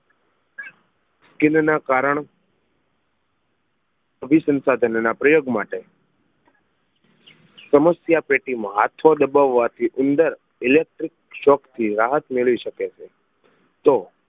kind ના કારણ અભિસંસાધન ના પ્રયોગ માટે સમસ્યા પેટી માં હાથો દબવાથી ઉંદર electickshock થી રાહત મેળવી શકે છે તો